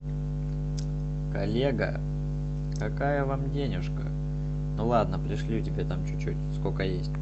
коллега какая вам денежка ну ладно пришлю тебе там чуть чуть сколько есть